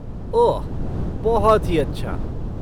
ओह, बहुत ही अच्छा!